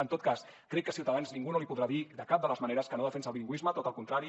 en tot cas crec que a ciutadans ningú no li podrà dir de cap de les maneres que no defensa el bilingüisme tot el contrari